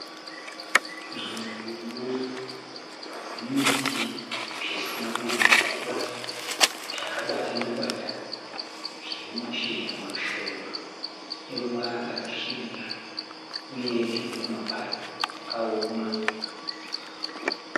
Nzvimbo ine zvimiti zvisina kunyanyo kura zvakabatana batana. Zvine mashizha mashoma eruvara rwaka svibira uye tumwe tumapazi twakaoma.